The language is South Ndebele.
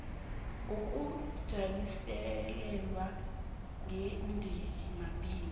ngokujanyiselelwa ngendima b